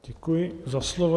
Děkuji za slovo.